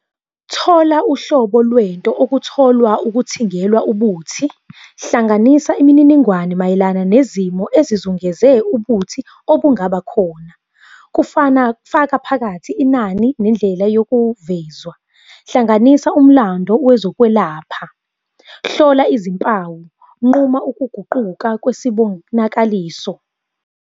Thola uhlobo lwento okutholwa ukuthingelwa ubuthi. Hlanganisa imininingwane mayelana nezimo ezizungeze ubuthi obungaba khona. Kufana, faka phakathi inani nendlela yokuvezwa. Hlanganisa umlando wezokwelapha. Hlola izimpawu, nquma ukuguquka kwesibonakaliso.